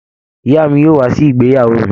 Ìyá mi yóò wà sí ìgbéyàwó mí